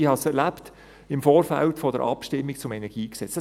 Ich habe es erlebt im Vorfeld der Abstimmung zum KEnG.